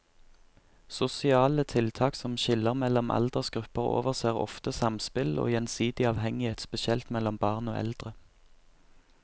Sosiale tiltak som skiller mellom aldersgrupper overser ofte samspill og gjensidig avhengighet, spesielt mellom barn og eldre.